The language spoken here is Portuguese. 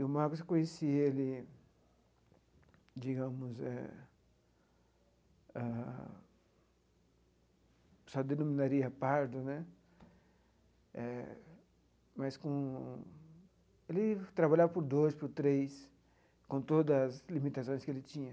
E o Marcos, eu conheci ele, digamos eh, ah se denominaria pardo né, eh mas com ele trabalhava por dois, por três, com todas as limitações que ele tinha.